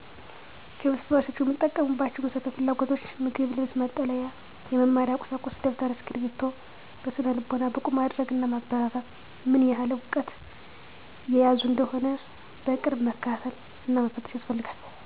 ከቤተሰቦቻቸው የሚጠበቅባቸው 1. መሰረታዊ ፍላጎቶችን ማሟላት ምሳሌ:- ምግብ፣ ልብስ፣ መጠለያ... ወዘተ 2. የመማሪያ ቀሳቁሶችን ማሟላት ምሳሌ:- ደብተር፣ ስክብሪቶ፣ የደንብ ልብስ፣ አጋዥ መፀሀፍት... ወዘተ 3. በስነ-ልቦና ብቁ ማድረግ እና ማበረታታት 4. ምን ያህል እውቀት እየያዙ እንደሆነ በቅርብ መከታተል እና መፈተሽ ያስፈልጋል።